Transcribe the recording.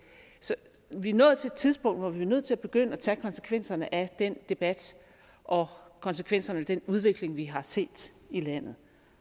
så vi er nået til et tidspunkt hvor vi er nødt til at begynde at tage konsekvenserne af den debat og konsekvenserne af den udvikling vi har set i landet